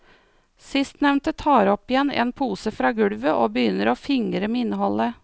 Sistnevnte tar opp igjen en pose fra gulvet og begynner å fingre med innholdet.